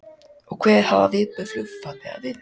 Karen: Og hver hafa viðbrögð flugfarþega verið?